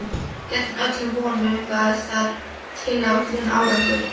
Gegn öllum vonum bar það tilætlaðan árangur.